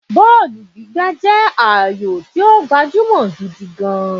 Bọ́ọ̀lù gbígbá jẹ́ ayò tí ó gbajúmọ̀ gidi gan-an